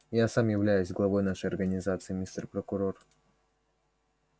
я сам являюсь главой нашей организации мистер прокурор